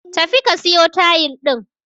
Tafi ka siyo tayil din